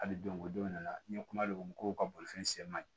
Hali don ko don ne la n ye kuma gomi kow ka bolifɛn se man ɲi